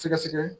Sɛgɛsɛgɛ